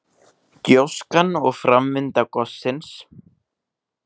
Gjóskan og framvinda gossins.